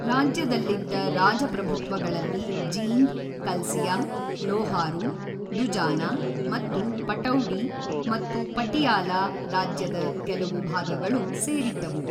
ರಾಜ್ಯದಲ್ಲಿದ್ದ ರಾಜಪ್ರಭುತ್ವಗಳಲ್ಲಿ ಜೀಂದ್, ಕಲ್ಸಿಯಾ, ಲೋಹಾರು, ದುಜಾನಾ ಮತ್ತು ಪಟೌಡಿ ಮತ್ತು ಪಟಿಯಾಲ ರಾಜ್ಯದ ಕೆಲವು ಭಾಗಗಳು ಸೇರಿದ್ದವು.